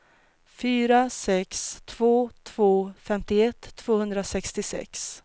fyra sex två två femtioett tvåhundrasextiosex